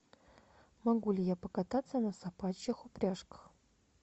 могу ли я покататься на собачьих упряжках